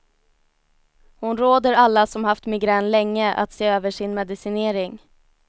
Hon råder alla som haft migrän länge att se över sin medicinering.